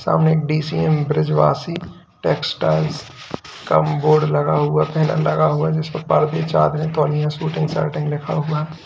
सामने D C M Brijwasi textiles का board लगा हुआ बैनर लगा हुआ जिस पे पर्दे चादरें तौलिया सूटिंग शॉर्टिंग लिखा हुआ है।